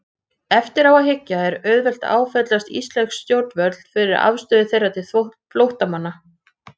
Eftir á að hyggja er auðvelt að áfellast íslensk stjórnvöld fyrir afstöðu þeirra til flóttamanna.